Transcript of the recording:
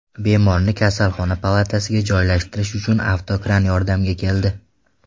Bemorni kasalxona palatasiga joylashtirish uchun avtokran yordamga keldi.